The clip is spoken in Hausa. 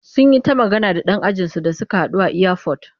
Sun yi ta magana da ɗan ajinsu da suka haɗu a iyafot.